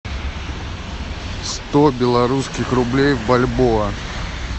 сто белорусских рублей в бальбоа